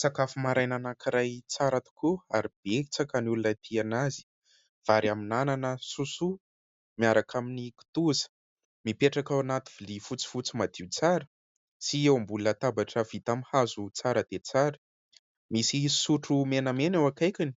Sakafo maraina anankiray tsara tokoa ary betsaka ny olona tia anazy. Vary amin'ny anana sosoa, miaraka amin'ny kitoza. Mipetraka ao anaty vilia fotsifotsy madio tsara sy eo ambony latabatra vita amin'ny hazo tsara dia tsara. Misy sotro menamena eo akaikiny